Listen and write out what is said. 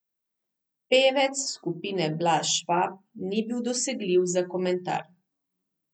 Pevec skupine Blaž Švab ni bil dosegljiv za komentar.